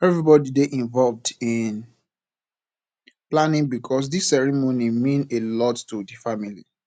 everybody dey involved in planning because this ceremony mean a lot to the family